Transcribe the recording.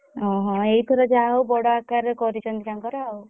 ଓହୋ! ଏଇଥର ଯାହା ହଉ ବଡ ଆକାର ରେ କରିଛନ୍ତି ତାଙ୍କର ଆଉ।